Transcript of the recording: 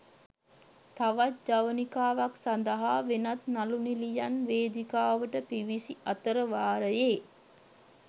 තවත් ජවනිකාවක් සඳහා වෙනත් නළු නිළියන් වේදිකාවට පිවිසි අතරවාරයේ